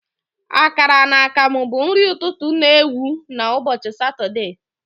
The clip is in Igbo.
Akara na akamu bụ nri ụtụtụ na ewu na ubochi Satọde.